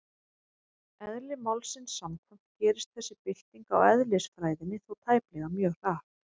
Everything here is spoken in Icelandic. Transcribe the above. Eðli málsins samkvæmt gerist þessi bylting á eðlisfræðinni þó tæplega mjög hratt.